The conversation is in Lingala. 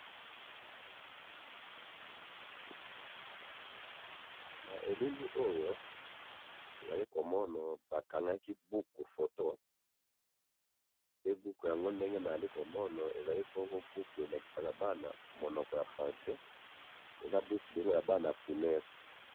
na ilili oyo nazali komona ba kangaki buku photo buku yango nde na zali ko mona eza buku elakisa bana monoko ya francais ezali buku ya bana primaire